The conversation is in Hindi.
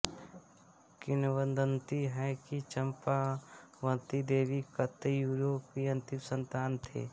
किंवदंति है कि चंपावती देवी कत्यूरों की अंतिम संतान थी